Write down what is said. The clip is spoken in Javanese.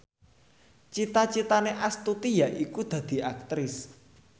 cita citane Astuti yaiku dadi Aktris